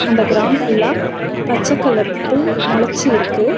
அந்த கிரவுண்ட் ஃபுல்லா பச்ச கலர் புல் மொளச்சி இருக்கு.